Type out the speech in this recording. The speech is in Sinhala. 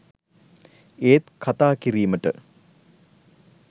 ඒත් කතා කිරීමට